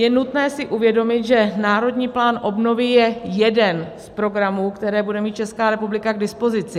Je nutné si uvědomit, že Národní plán obnovy je jeden z programů, které bude mít Česká republika k dispozici.